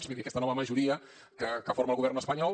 vull dir a aquesta nova majoria que forma el govern espanyol